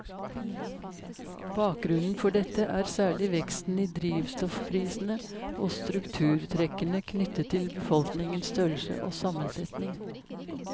Bakgrunnen for dette er særlig veksten i drivstoffprisene og strukturtrekkene knyttet til befolkningens størrelse og sammensetning.